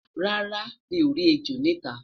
rárá, mi o rí ẹjọ nita